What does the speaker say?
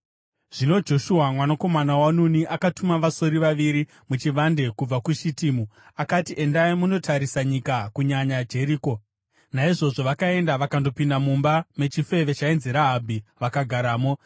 Zvino Joshua mwanakomana waNuni akatuma vasori vaviri muchivande kubva kuShitimu. Akati, “Endai munotarisa nyika, kunyanya Jeriko.” Naizvozvo vakaenda vakandopinda mumba mechifeve chainzi Rahabhi vakagaramo.